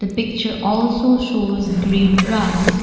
picture also shows green grass.